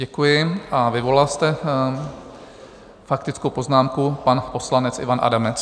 Děkuji a vyvolala jste faktickou poznámku, pan poslanec Ivan Adamec.